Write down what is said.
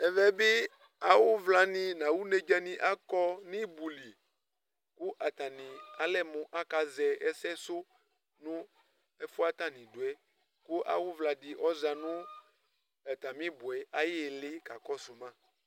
ɛvɛ bi awu vla ni n'awu nedza ni akɔ n'ibu li kò atani alɛ mo aka zɛ ɛsɛ sò no ɛfu yɛ atani do yɛ kò awu vla di ɔza no atami ibu yɛ ayi ili ka kɔsu ma